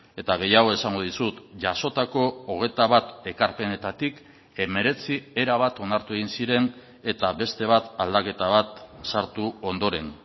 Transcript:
eta gehiago esango dizut jasotako hogeita bat ekarpenetatik hemeretzi erabat onartu egin ziren eta beste bat aldaketa bat sartu ondoren